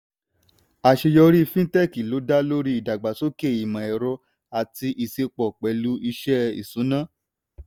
àṣeyọrí fintech ló dá lórí ìdàgbàsókè imọ ẹrọ ati ìṣepọ̀ pẹ̀lú iṣẹ́ ìṣúná.